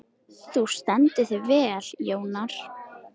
Þú stendur þig vel, Jónar!